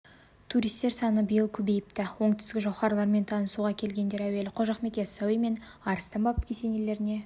туристер саны биыл көбейіпті оңтүстік жауһарларымен танысуға келгендер әуелі қожа ахмет яссауи мен арыстан баб кесенелеріне